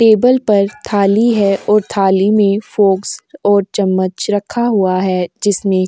table पर थाली है और थाली में फॉक्स और चम्मच रखा हुआ है जिसमें --